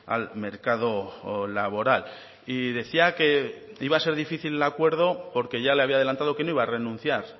al mercado laboral y decía que iba a ser difícil el acuerdo porque ya le había adelantado que no iba a renunciar